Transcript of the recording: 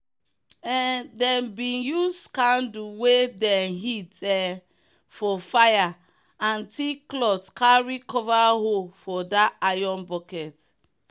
um them bin use candle wey dem heat um for fire and thick cloth carry cover hole for that iron bucket.